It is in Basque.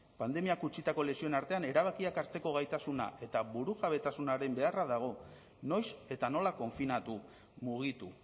pandemiak utzitako lesioen artean erabakiak hartzeko gaitasuna eta burujabetasunaren beharra dago noiz eta nola konfinatu mugitu